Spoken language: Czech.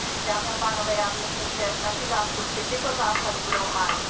Dámy a pánové, já věřím, že naši zástupci tyto zásady budou hájit.